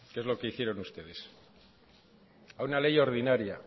que es lo que hicieron ustedes a una ley ordinaria